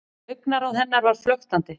Augnaráð hennar var flöktandi.